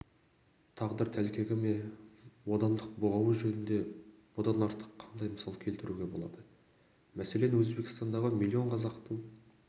тағдыр тәлкегі ме бодандық бұғауы жөнінде бұдан артық қандай мысал келтіруге болады мәселен өзбекстандағы миллион қазақтың